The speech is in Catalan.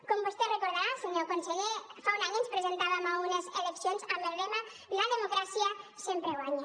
com vostè deu recordar senyor conseller fa un any ens presentàvem a unes eleccions amb el lema la democràcia sempre guanya